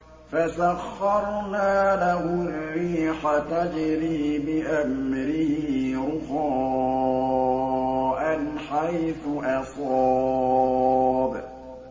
فَسَخَّرْنَا لَهُ الرِّيحَ تَجْرِي بِأَمْرِهِ رُخَاءً حَيْثُ أَصَابَ